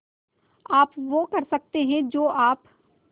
आप वो कर सकते हैं जो आप